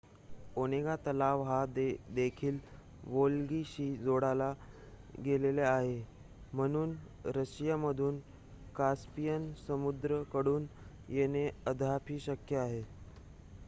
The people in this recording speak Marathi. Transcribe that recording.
ओनेगा तलाव हा देखील वोल्गाशी जोडला गेलेला आहे म्हणून रशिया मधून कास्पियन समुद्र कडून येणे अद्याप ही शक्य आहे